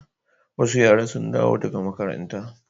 Wasu yara sun dawo daga makaranta.